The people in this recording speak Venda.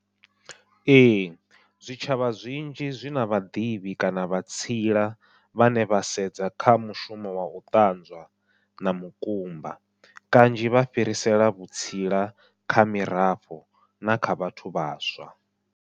Ee zwitshavha zwinzhi zwi na vhaḓivhi kana vha tsila vhane vha sedza kha mushumo wa u ṱanzwa na mukumba, kanzhi vha fhirisela vhutsila kha mirafho na kha vhathu vhaswa.